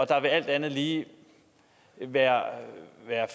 der alt andet lige være